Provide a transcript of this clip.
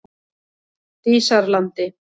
Dísarlandi